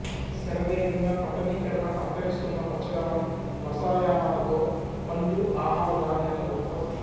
శరవేగంగా పట్టణీకరణ అంతరిస్తున్న పచ్చదనం రసాయనాలతో పళ్లు ఆహార ధాన్యాల ఉత్పత్తి